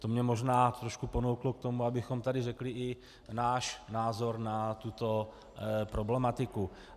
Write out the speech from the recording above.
To mě možná trošku ponouklo k tomu, abychom tady řekli i náš názor na tuto problematiku.